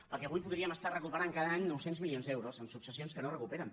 perquè avui podríem estar recuperant cada any nou cents milions d’euros en successions que no es recuperen